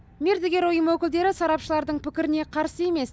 мердігер ұйым өкілдері сарапшылардың пікіріне қарсы емес